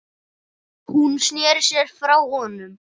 Hún sneri sér frá honum.